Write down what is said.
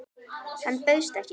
Hann bauðst ekki.